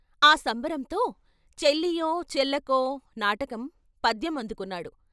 ఆ సంబరంతో చెల్లియో చెల్లకో నాటకం పద్యం అందుకున్నాడు.